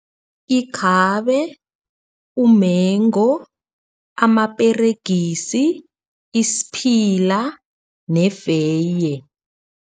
Ikhabe, umengo, amaperegisi, isiphila nefeye.